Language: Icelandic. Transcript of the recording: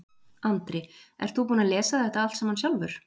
Andri: Ert þú búinn að lesa þetta allt saman sjálfur?